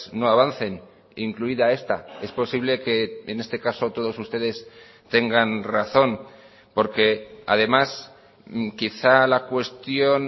no avancen incluida esta es posible que en este caso todos ustedes tengan razón porque además quizá la cuestión